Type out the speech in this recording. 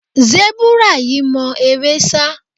Sẹ́búrà yìí mọ eré sá.